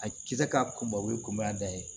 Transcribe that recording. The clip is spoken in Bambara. A kisɛ ka kunba o ye kunbaya da ye